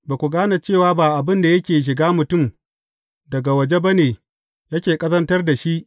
Ba ku gane cewa ba abin da yake shiga mutum daga waje ba ne yake ƙazantar da shi.